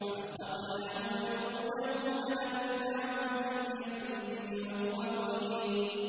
فَأَخَذْنَاهُ وَجُنُودَهُ فَنَبَذْنَاهُمْ فِي الْيَمِّ وَهُوَ مُلِيمٌ